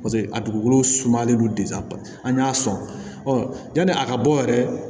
Paseke a dugukolo sumalen don an y'a sɔn yani a ka bɔ yɛrɛ